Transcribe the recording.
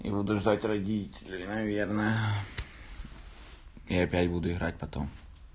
и буду ждать родителей наверное опять буду играть потом